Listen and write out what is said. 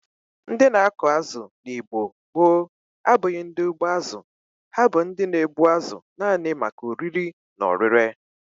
Ndi na-akụ azụ n'Igbo gboo abụghi ndi ugbo azu; ha bu ndi na egbu azu nani maka oriri na orire.